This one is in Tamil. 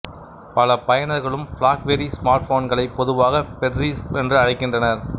பல பயனர்களும் பிளாக்பெர்ரி ஸ்மார்ட்போன்களை பொதுவாக பெர்ரிஸ் என்று அழைக்கின்றனர்